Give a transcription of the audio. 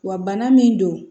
Wa bana min don